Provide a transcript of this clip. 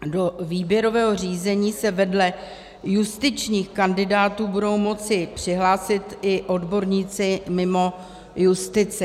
Do výběrového řízení se vedle justičních kandidátů budou moci přihlásit i odborníci mimo justici.